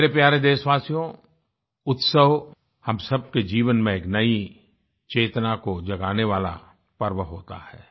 मेरे प्यारे देशवासियो उत्सव हम सबके जीवन में एक नई चेतना को जगाने वाला पर्व होता है